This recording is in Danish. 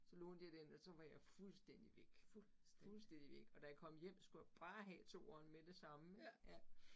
Så lånte jeg den, og så var jeg fulstændig væk. Fuldstændig væk, og da jeg kom hjem, skulle jeg bare have toeren med det samme, ja